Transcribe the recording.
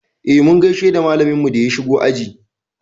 Eh, mun gaishe da malaminmu da ya shigo aji.